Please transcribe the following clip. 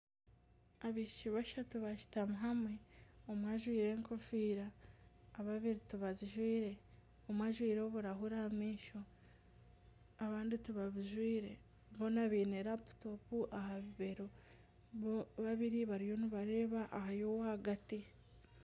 Abaishiki bashatu bashutami hamwe omwe ajwire enkofiira babiri tibazijwire omwe ajwire oburahuri aha maisho abandi tibabujwire boona baine laputopu aha bibero babiri bariyo nibareba aha y'owagati